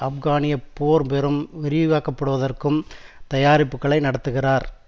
ஆப்கானிய போர் பெரும் விரிவாக்கப்படுவதற்கும் தயாரிப்புக்களை நடத்துகிறார்